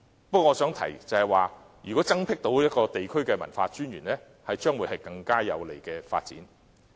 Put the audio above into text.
不過，我想提出，如果能增設地區文化專員一職，將會是更有利的發展。